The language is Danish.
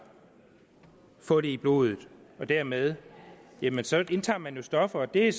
få det i blodet og dermed indtager indtager man jo stoffer det er